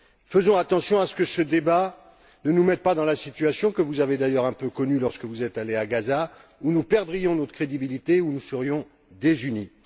Faisons attention à ce que ce débat ne nous mette pas dans la situation que vous avez d'ailleurs un peu connue lorsque vous êtes allée à Gaza où nous perdrions notre crédibilité, où nous serions désunis.